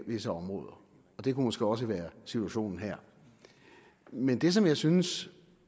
visse områder og det kunne måske også være situationen her men det som jeg synes